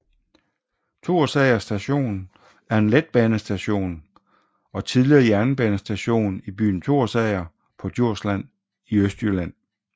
Thorsager Station er en letbanestation og tidligere jernbanestation i byen Thorsager på Djursland i Østjylland